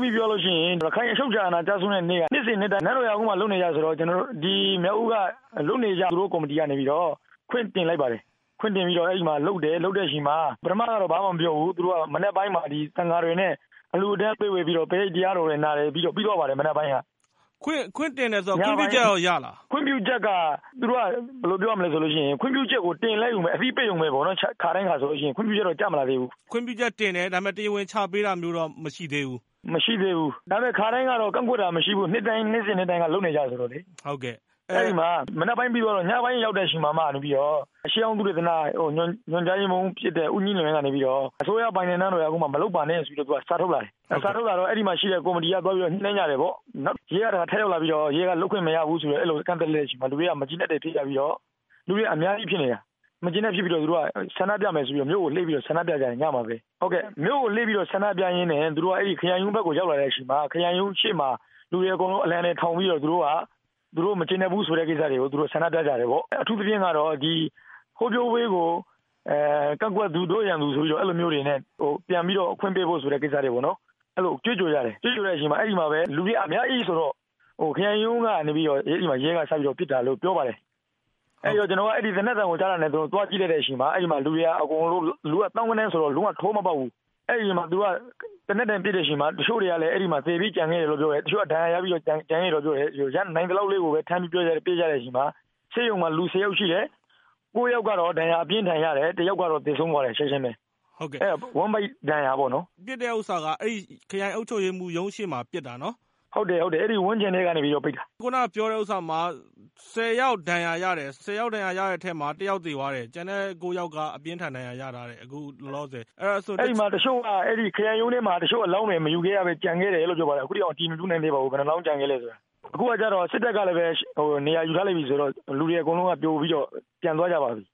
ပြီး ပြောရလို့ရှိရင် ရခိုင် အချုပ်အခြာအာဏာကျဆုံးတဲ့နေ့က နှစ်စဉ်နှစ်တိုင်း နန်းတော်ရာကုန်းမှာ လုပ်နေကျဆိုတော့ ကျနော်တို့ မြောက်ဦးက လုပ်နေကျ သူတို့ ကော်မတီကနေပြီးတော့ ခွင့်တင်လိုက်ပါတယ်။ ခွင့်တင်ပြီးတော့ အဲဒီမှာလုပ်တယ်၊ လုပ်တဲ့အချိန်မှာ ပထမတော့ ဘာမှမပြောဘူး။ မနက်ပိုင်းမှာ သံဃာတွေနဲ့ အလှူအတန်းပေးဝေပြီးတော့ ပရိတ်တရားတော်နာတယ်။ ပြီးသွားပါတယ်၊ မနက်ပိုင်းက။ ခွင့်တင်တယ်ဆိုတော့ ခွင့်ပြုချက်ရော ရလား။ ခွင့်ပြုချက်ကိုတင်လိုက်ရုံပဲ။ အသိပေးရုံပဲပေါ့။ ခါတိုင်းဟာဆိုလို့ရှိရင်၊ ခွင့်ပြုချက်တော့ ကျမလာသေးဘူး။ ခွင့်ပြုချက်တင်တယ်၊ ဒါပေမယ့် တရားဝင်ချပေးတာမျိုးတော့ မရှိသေးဘူး။ မရှိသေးဘူး၊ ဒါပေမယ့် ခါတိုင်းကတော့ ကန့်ကွက်တာမရှိဘူး။ နှစ်တိုင်းက လုပ်နေကျဆိုတော့လေ။ အဲဒီမှာ မနက်ပိုင်းပြီးသွားလို့ ညပိုင်းရောက်တဲ့အခါမှာ ရှေးဟောင်းသုတေသနညွှန်ကြားရေးမှူးဖြစ်တဲ့ ဦးမြင့် ကနေပြီးတော့ နန်းတော်ရာကုန်းမှာ မလုပ်ပါနဲ့ဆိုပြီးတော့ သူက စာထုတ်လာတယ်။ စာထုတ်လာတော့ အဲဒီမှာရှိတဲ့ ကော်မတီက သွားပြီးတော့ ညှိနှိုင်းကြတယ်ပေါ့။ ရဲက ထပ်ရောက်လာပြီးတော့ လုပ်ခွင့်မရဘူးလို့ အဲလို ကန့်သတ်လိုက်တဲ့အချိန်မှာ လူတွေက မကျေမနပ်တွေဖြစ်ပြီးတော့ - လူတွေက အများကြီးဖြစ်နေတာ။ မကျေမနပ်ဖြစ်ပြီး ဆန္ဒပြမယ်ဆိုပြီးတော့ ညမှာပဲ မြို့ကိုလှည့်ပြီး ဆန္ဒပြကြတယ်။ မြို့ကိုလှည့်ပြီးတော့ ဆန္ဒပြရင်းနဲ့ သူတို့က အဲဒီ ခရိုင်ရုံးဘက်ကို ရောက်လာတဲ့အချိန်မှာ ခရိုင်ရုံးရှေ့မှာ လူတွေအကုန်လုံးက အလံတွေထောင်ပြီးတော့ သူတို့ မကျေနပ်ဘူးဆိုတဲ့ကိစ္စတွေကို သူတို့ ဆန္ဒပြကြတယ်ပေါ့။ အထူးသဖြင့်ကတော့ “ဟောပြောပွဲကို ကန့်ကွက်သူ- တို့ရန်သူ” ဆိုပြီးတော့ အဲလိုမျိုးတွေ ပြန်ပြီးတော့ ခွင့်ပေးဖို့ ဆိုတဲ့ ကိစ္စတွေပေါ့နော်။ အဲလို ကြွေးကြော်ကြတယ်။ ကြွေးကြော်တဲ့အချိန်မှာပဲ လူတွေက အများကြီးဆိုတော့ ခရိုင်ရုံးကနေပြီးတော့ အဲဒီမှာ ရဲက စပြီး ပစ်တာလို့ ပြောပါတယ်။ ကျနော်က သေနတ်သံကိုကြားတာနဲ့ သွားကြည့်လိုက်တဲ့အချိန်မှာ လူတွေက အကုန်လုံး လူက သောင်းဂဏန်းဆိုတော့ လုံးဝ တိုးမပေါက်ဘူး။ အဲဒီအချိန်မှာ သူတို့က သေနတ်နဲ့ပစ်တဲ့အချိန်မှာ တချို့တွေကလည်း အဲဒီမှာ သေပြီးကျန်ခဲ့တယ်လို့ ပြောတယ်။ တချို့က ဒဏ်ရာရပြီး ကျန်ခဲ့တယ်လို့ ပြောတယ်။ နိုင်သလောက်လေးကိုပဲ ထမ်းပြီးပြေးကြတဲ့အချိန်မှာ ဆေးရုံမှာလူဆယ်ယောက်ရှိတယ်။ ကိုးယောက်ကတော့ ဒဏ်ရာ အပြင်းအထန်ရတယ်။ တယောက်ကတော့ ချက်ချင်းပဲ သေဆုံးသွားတယ်။ ဝမ်းဗိုက်ဒဏ်ရာပေါ့နော်။ ပစ်တာက ခရိုင်အုပ်ချုပ်ရေးမှူးရုံးရှေ့မှာ ပစ်တာနော်။ ဟုတ်တယ်၊ ဟုတ်တယ်။ အဲဒီဝန်းကျင်မှာပဲ ပစ်တာ။ အခုက ပြောတာမှာ ဆယ်ယောက် ဒဏ်ရာရတဲ့ထဲမှာ တယောက်သေသွားတယ်။ ကျန်တဲ့ကိုးယောက်က အပြင်းအထန် ဒဏ်ရာရတယ် အခုလောလောဆယ်- အဲဒီမှာ…. အဲဒီမှာ တချို့က ခရိုင်ရုံးထဲမှာ အလောင်းတွေ မယူခဲ့ရဘဲ ကျန်ခဲ့တယ်လို့ ပြောပါတယ်။ အခုထိအောင် ဘယ်နှစ်လောင်းကျန်ခဲ့လဲဆိုတာ အတည်မပြုနိုင်သေးပါဘူး။ အခုခါကျတော့ စစ်တပ်ကလည်းပဲ နေရာယူထားလိုက်ပြီဆိုတော့ လူတွေအကုန်လုံးက ပြိုပြီးတော့ ပြန်သွားကြပါပြီ